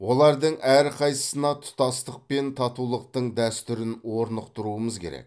олардың әрқайсысына тұтастық пен татулықтың дәстүрін орнықтыруымыз керек